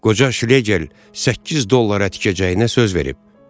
Qoca Şlegil səkkiz dollara tikəcəyinə söz verib.